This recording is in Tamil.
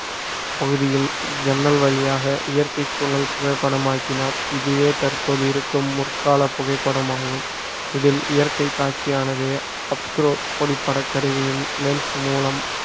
பகுதியில் ஜன்னல் வழியாக இயற்கைச் சூழல் புகைப்படமாக்கினார் இதுவே தற்போது இருக்கும் முற்கால புகைப்படமாகும் இதில் இயற்கை காட்சி ஆனது அப்ஸ்க்ரோ ஒளிப்பட கருவியின் lens மூலம்